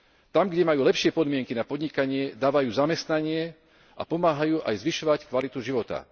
Tam, kde majú lepšie podmienky na podnikanie, dávajú zamestnanie a pomáhajú aj zvyšovať kvalitu života.